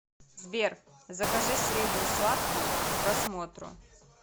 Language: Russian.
сбер закажи средний сладкий к просмотру